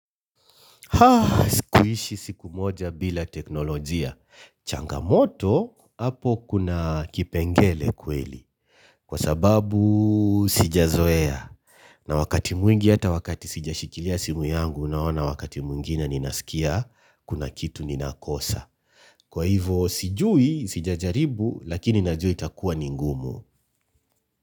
Sikuishi siku moja bila teknolojia. Changamoto, hapo kuna kipengele kweli. Kwa sababu, sijazoea. Na wakati mwingi, hata wakati sijashikilia simu yangu, naona wakati mwingine ninasikia, kuna kitu ninakosa. Kwa hivyo, sijui, sijajaribu, lakini najua itakuwa ni ngumu.